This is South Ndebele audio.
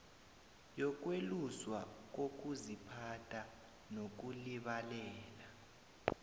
yokweluswa kokuziphatha nokulibalela